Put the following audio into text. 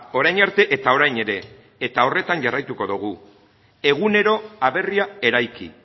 orain arte eta orain ere eta horretan jarraituko dugu egunero aberria eraiki